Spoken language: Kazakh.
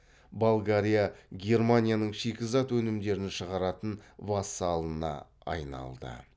болгария германияның шикізат өнімдерін шығаратын вассалына айналды